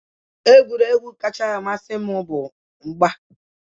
Egwuregwu kacha amasị m bụ mgba.